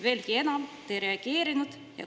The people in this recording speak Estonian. Veelgi enam, te ei reageerinud.